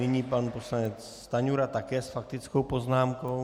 Nyní pan poslanec Stanjura také s faktickou poznámkou.